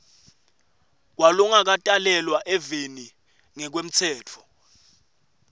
kwalongakatalelwa eveni ngekwemtsetfo